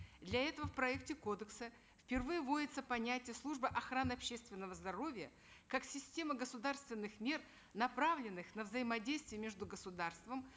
для этого в проекте кодекса впервые вводится понятие служба охраны общественного здоровья как система государственных мер направленных на взаимодействие между государством